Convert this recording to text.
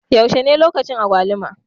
Yaushe ne lokaci agwaluma?